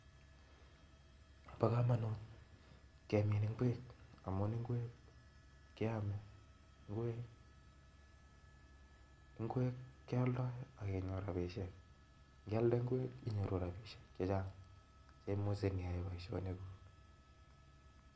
Bo kamanut kemin ingwek amun ingwek keame, ingwek kealdai ak kenyor rapishiek. Ngialde ingwek inyoru rapisiek chechang chemuchei iyae boisionikuk.